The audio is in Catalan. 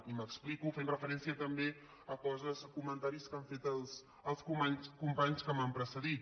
i m’explico fent referència també a coses comen·taris que han fet els companys que m’han precedit